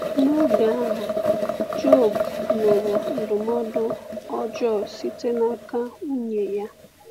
N’oge ahụ, Jọb nụrụ ndụmọdụ ọjọọ site n’aka nwunye ya.